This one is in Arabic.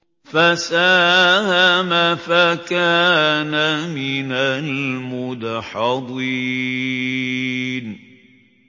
فَسَاهَمَ فَكَانَ مِنَ الْمُدْحَضِينَ